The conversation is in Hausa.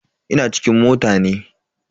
Ina cikin mota ne.